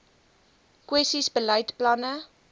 kwessies beleid planne